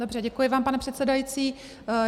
Dobře, děkuji vám, pane předsedající.